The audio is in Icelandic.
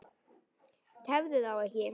Tefðu þá ekki.